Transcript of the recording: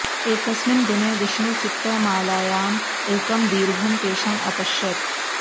एकस्मिन् दिने विष्णुचित्तः मालायाम् एकं दीर्घं केशं अपश्यत्